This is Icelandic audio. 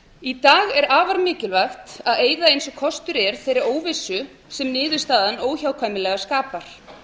í dag er afar mikilvægt að eyða eins og kostur er þeirri óvissu sem niðurstaðan óhjákvæmilega skapar